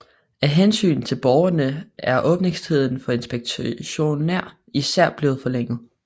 Af hensyn til borgerne er åbningstiden for inspektioner især blevet forlænget